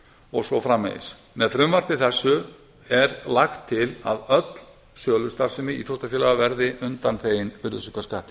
og svo framvegis með frumvarpi þessu er lagt til að öll sölustarfsemi íþróttafélaga verði undanþegin virðisaukaskatti